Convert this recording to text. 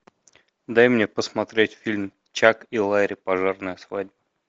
дай мне посмотреть фильм чак и ларри пожарная свадьба